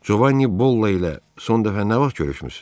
Covanni Bolla ilə son dəfə nə vaxt görüşmüsüz?